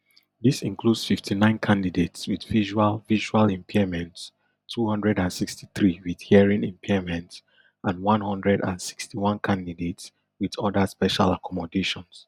dis includes fifty-nine candidates wit visual visual impairments two hundred and sixty-three wit hearing impairments and one hundred and sixty-one candidates wit oda special accommodations